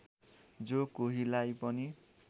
जो कोहीलाई पनि